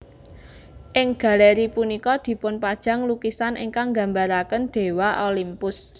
Ing galéri punika dipunpajang lukisan ingkang nggambaraken Déwa Olympus